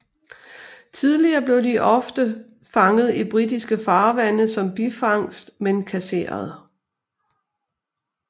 Tidligere blev de ofte fanget i britiske farvande som bifangst men kasseret